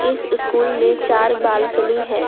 इस स्कूल में चार बालकनी है।